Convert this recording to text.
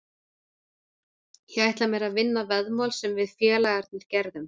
Ég ætla mér að vinna veðmál sem við félagarnir gerðum.